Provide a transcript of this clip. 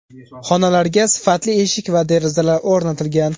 Xonalarga sifatli eshik va derazalar o‘rnatilgan.